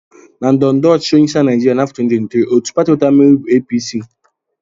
Na ndọrọndọrọ ọchịchị onyeisiala Naijiria n'afọ 2023, otu pati nwetara mmeri bụ APC